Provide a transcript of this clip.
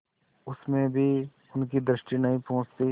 उसमें भी उनकी दृष्टि नहीं पहुँचती